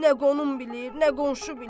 Nə qonum bilir, nə qonşu bilir.